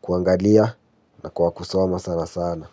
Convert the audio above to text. Kuangalia na kwa kusoma sana sana.